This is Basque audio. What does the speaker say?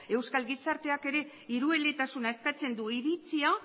euskal gizarteak ere hirueletasuna eskatzen du iritsia